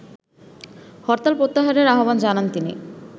হরতাল প্রত্যাহারেরও আহ্বান জানান তিনি